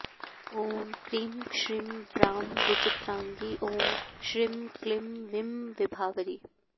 ॐ क्रीं श्रीं ब्रां विचित्राङ्गी ॐ श्रींक्लीं वीं विभावरी